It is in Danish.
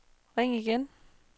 ring igen